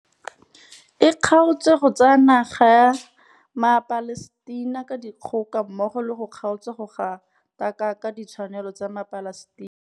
E kgaotse go tsaya naga ya maPalestina ka dikgoka mmogo le go kgaotsa go gatakaka ditshwanelo tsa maPalestina.